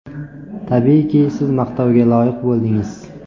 Tabiiyki, siz maqtovga loyiq bo‘ldingiz.